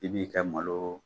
I b'i ka malo